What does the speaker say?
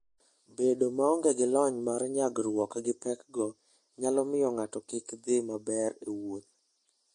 Bedo maonge gi lony mar nyagruok gi pekgo nyalo miyo ng'ato kik dhi maber e wuoth.